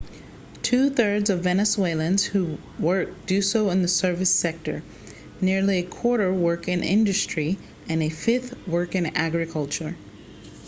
two thirds of venezuelans who work do so in the service sector nearly a quarter work in industry and a fifth work in agriculture